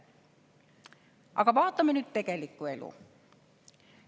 Aga vaatame tegelikku elu.